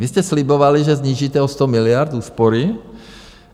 Vy jste slibovali, že snížíte o 100 miliard, úspory.